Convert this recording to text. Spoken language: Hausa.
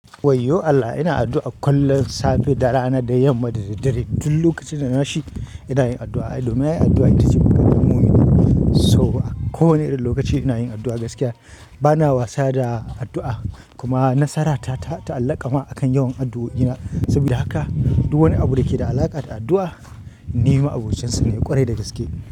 Wayyo Allah ina addu'a kullum, safe, da rana, da yamma da dare. Duk lokacin da na shi ina yin addu'a. Domin ai addu'a ita ce makarfin mumini. So a kowane lokaci ina yin addu'a gaskiya. Bana wasa da addu'a kuma nasara ta ta'alaƙa ma akan yawan addu'o'ina. Saboda haka duk wani abu da ke da alaƙa da addu'a, ni ma'abocinsa ne ƙwarai da gaske.